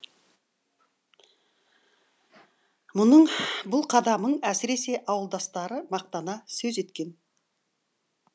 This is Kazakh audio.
мұның бұл қадамын әсіресе ауылдастары мақтана сөз еткен